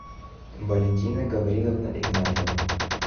валентина гавриловна игнатова